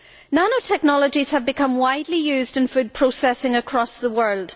Nanotechnologies have become widely used in food processing across the world.